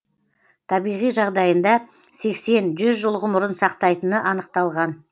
табиғи жағдайында сексен жүз жыл ғұмырын сақтайтыны анықталған